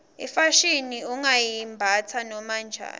ifashini ungayimbatsa noma njani